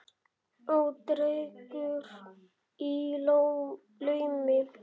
Og drekkur í laumi.